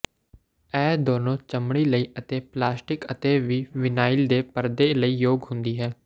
ਇਹ ਦੋਨੋ ਚਮੜੀ ਲਈ ਅਤੇ ਪਲਾਸਟਿਕ ਅਤੇ ਵੀ ਵਿਨਾਇਲ ਦੇ ਪਰਦੇ ਲਈ ਯੋਗ ਹੁੰਦੀ ਹੈ